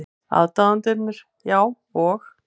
Aðdáendurnir, já, og?